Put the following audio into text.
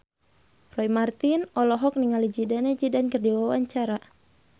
Roy Marten olohok ningali Zidane Zidane keur diwawancara